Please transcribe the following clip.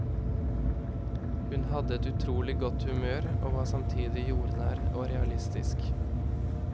Hun hadde et utrolig godt humør, og var samtidig jordnær og realistisk.